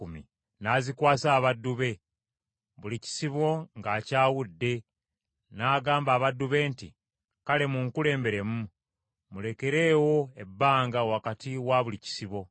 N’azikwasa abaddu be, buli kisibo ng’akyawudde, n’agamba abaddu be nti, “Kale munkulemberemu, mulekeewo ebbanga wakati wa buli kisibo.”